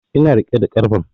Ina riƙe da karfen